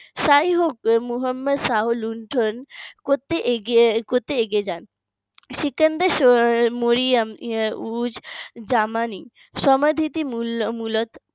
যাইহোক মোহাম্মদ শাহ লুণ্ঠন করতে এগিয়ে করতে এগিয়ে যান সিকান্দার মরিয়ম উজ জামানি সমাধিটির মূলত